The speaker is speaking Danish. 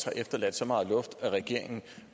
er efterladt så meget luft at regeringen